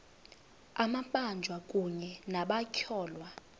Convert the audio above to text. amabanjwa kunye nabatyholwa